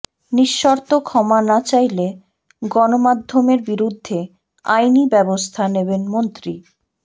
নিঃশর্ত ক্ষমা না চাইলে গণমাধ্যমের বিরুদ্ধে আইনি ব্যবস্থা নেবেন মন্ত্রী